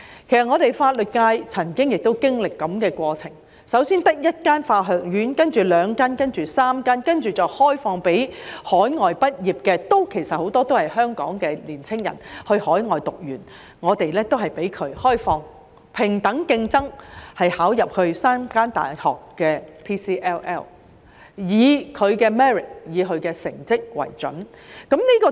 其實法律界也曾經歷類似過程，香港最初只有一間法學院，然後有兩間，到3間，再開放給海外畢業生——其實很多都是香港年青人，他們在海外修讀完畢——平等競爭，報考入讀3間大學的 PCLL， 以他們的 merit、成績為準。